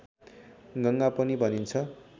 गङ्गा पनि भनिन्छ